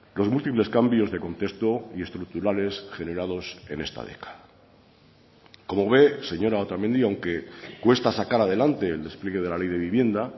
los múltiples cambios de contexto y estructurales generados en esta década como ve señora otamendi aunque cuesta sacar adelante el despliegue de la ley de vivienda